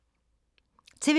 TV 2